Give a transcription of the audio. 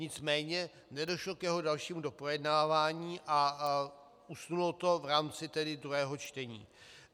Nicméně nedošlo k jeho dalšímu doprojednávání a usnulo to v rámci tedy druhého čtení.